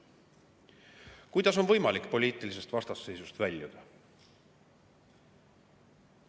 Kuidas on võimalik poliitilisest vastasseisust väljuda?